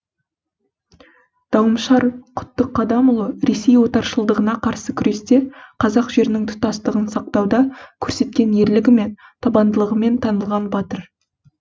дауымшар құттықадамұлы ресей отаршылдығына қарсы күресте қазақ жерінің тұтастығын сақтауда көрсеткен ерлігімен табандылығымен танылған батыр